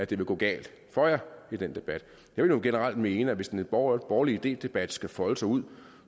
ville gå galt for jer i den debat jeg vil jo generelt mene at hvis en borgerlig idedebat skal folde sig ud